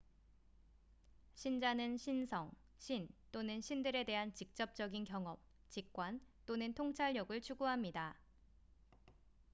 신자는 신성/신 또는 신들에 대한 직접적인 경험 직관 또는 통찰력을 추구합니다